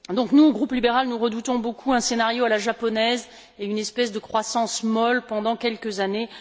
Nous, groupe libéral, nous redoutons beaucoup un scénario à la japonaise et une espèce de croissance molle pendant quelques années.